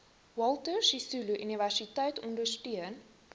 walter sisuluuniversiteit ondersteun